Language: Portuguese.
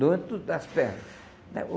Doente tudo das pernas, né.